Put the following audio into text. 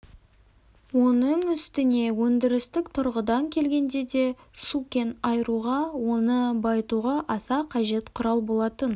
оның үстіне өндірістік тұрғыдан келгенде де су кен айыруға оны байытуға аса қажет құрал болатын